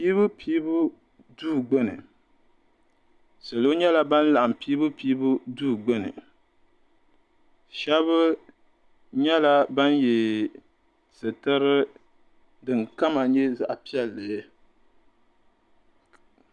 Piibu piibu duu gbuni salo nyɛla ban laɣim piibu piibu duu gbuni shɛba nyɛla ban ye sitiri din kama nyɛ zaɣ'piɛlli.